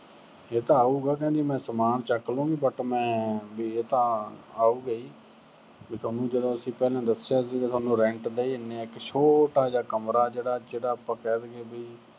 ਇਹ ਤਾਂ ਆਉਗਾ ਕਹਿੰਦੀ ਮੈਂ ਸਮਾਨ ਚੱਕ ਲੂੰ but ਮੈਂ ਵੀ ਇਹ ਤਾਂ ਆਉਗਾ ਈ। ਵੀ ਤੈਨੂੰ ਜਦੋਂ ਅਸੀਂ ਪਹਿਲਾਂ ਦੱਸਿਆ ਸੀਗਾ, ਅਸੀਂ rent ਦੇਈ ਜਾਨੇ ਆਂ, ਇੱਕ ਛੋਟਾ ਜਿਹਾ ਕਮਰਾ ਜਿਹੜਾ ਅਹ ਜਿਹੜਾ ਆਪਾ ਕਹਿ ਦੇਈਏ ਵੀ